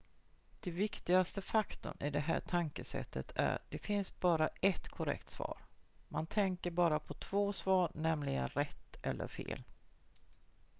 den viktigaste faktorn i det här tankesättet är det finns bara ett korrekt svar man tänker bara på två svar nämligen rätt eller fel